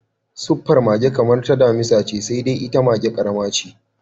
Suffar mage kamar ta damisa ce, sai dai ita maga ƙarama ce.